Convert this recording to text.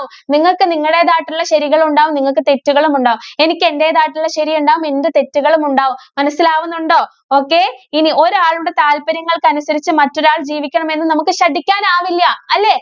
നിങ്ങക്ക് നിങ്ങളുടേതായ ശരികളും ഉണ്ടാവും, നിങ്ങക്ക് തെറ്റുകളും ഉണ്ടാവും. എനിക്ക് എന്‍റേതായിട്ടുള്ള ശരിയുണ്ടാവും, എന്റെ തെറ്റുകളും ഉണ്ടാവും. മനസ്സിലാവുന്നുണ്ടോ? okay ഇനി ഒരാളുടെ താല്പര്യങ്ങള്‍ക്ക് അനുസരിച്ച് മറ്റൊരാള്‍ ജീവിക്കണമെന്ന് നമുക്ക് ശഠിക്കാനാവില്ല. അല്ലേ?